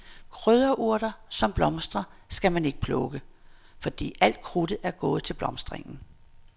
Krydderurter, som blomstrer, skal man ikke plukke, fordi alt krudtet er gået til blomstringen.